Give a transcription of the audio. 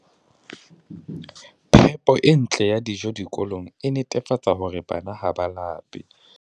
Phepo e ntle ya dijo dikolong e netefatsa hore bana ha ba lape.